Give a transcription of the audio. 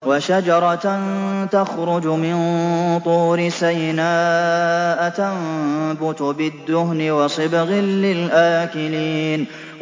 وَشَجَرَةً تَخْرُجُ مِن طُورِ سَيْنَاءَ تَنبُتُ بِالدُّهْنِ وَصِبْغٍ لِّلْآكِلِينَ